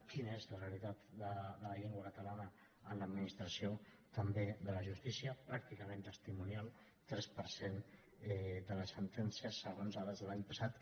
quina és la realitat de la llengua catalana a l’administració també de la justícia pràcticament testimonial tres per cent de les sentències segons dades de l’any passat